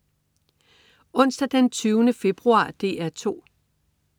Onsdag den 20. februar - DR 2: